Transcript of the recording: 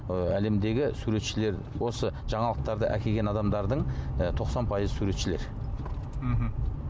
ы әлемдегі суретшілер осы жаңалықтарды әкелген адамдардың ы тоқсан пайызы суретшілер мхм